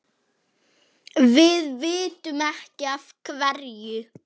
Við vitum ekki af hverju.